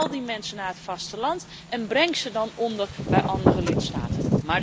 Haal die mensen naar het vasteland en breng ze dan onder bij andere lidstaten.